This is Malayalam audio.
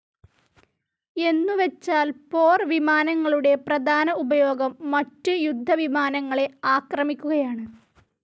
എന്നുവച്ചാൽ പോർവിമാനങ്ങളുടെ പ്രധാന ഉപയോഗം മറ്റ് യുദ്ധ വിമാനങ്ങളെ ആക്രമിക്കുകയാണ്.